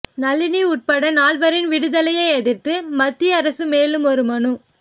நளினி உட்பட நால்வரின் விடுதலையை எதிர்த்து மத்திய அரசு மேலும் ஒரு மனு